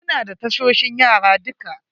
Muna da tasoshin yara duka.